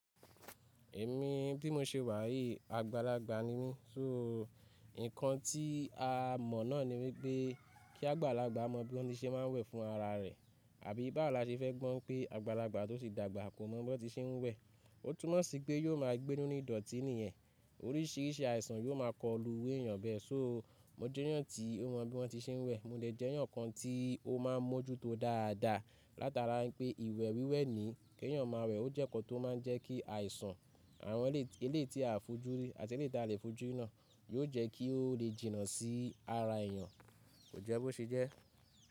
Èmi bí mo ṣe wà yìí, àgbàlagbà ni mí. Só ìkan tí a mọ̀ náà ni wípé kí àgbàlagbà mọ bí wọn ti se ma ń wẹ̀ fún ara rẹ̀, àbí bá wo la ṣe fẹ́ gbọ́ pé àgbàlagbà tó ti dàgbà kò mọ bí wọn se ń wẹ̀. Ó túnmọ̀ sí pé yóò máa gbé nínu ìdọ̀ọ̀tí nìyẹn. Oríṣìíríṣìí àìsàn yóò máa kọlu iru èyàn bẹ́ẹ̀. Só mo jẹ́yàn tí ó mọ bí wọ́n ti ṣe ń wẹ̀, mo lè jẹ́yàn kan tí ó máa ń mójúto dáadáa. Látara wípé ìwẹ̀ wíwẹ̀ ni kí ènìyàn máa wẹ̀. Ó jẹ́ ǹkan tó máa ń jẹ́ kí àìsàn àwọn elé yiti a fojúrí àti eleyiti à lèfojúrí náà yóò jẹ́ kí ó lè jìnnà sí ara èyàn, kò jẹ́ bó ṣe jẹ́.